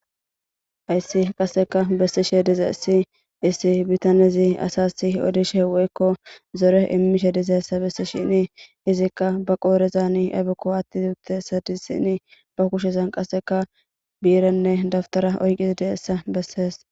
hayssi qasseka bessishe dizeysi issi issi bitanezi asasi odishe weykko zore immishe dizeessa bessishini izikka ba qoorezani ayfekko atti uuttessa dissini ba kushezan qasseka biiranne daftara oyqizi di7essa bessees